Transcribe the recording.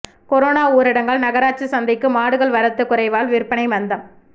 corona ஊரடங்கால் நகராட்சி சந்தைக்கு மாடுகள் வரத்து குறைவால் விற்பனை மந்தம்